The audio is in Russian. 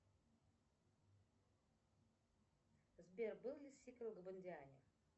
сбер был ли сиквел в бондиане